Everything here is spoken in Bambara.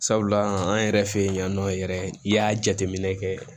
Sabula an yɛrɛ fɛ yen yan nɔ yɛrɛ i y'a jateminɛ kɛ